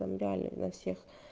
там реально на всех